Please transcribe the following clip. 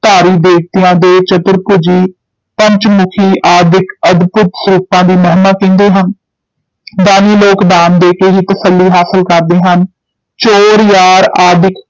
ਧਾਰੀ ਦੇਵਤਿਆਂ ਦੇ ਚਤੁਰਭੁਜੀ, ਪੰਚਮੁਖੀ ਆਦਿਕ ਅਦਭੁਤ ਸਰੂਪਾਂ ਦੀ ਮਹਿਮਾ ਕਹਿੰਦੇ ਹਨ ਦਾਨੀ ਲੋਕ ਦਾਨ ਦੇ ਕੇ ਹੀ ਤਸੱਲੀ ਹਾਸਲ ਕਰਦੇ ਹਨ, ਚੋਰ ਯਾਰ ਆਦਿਕ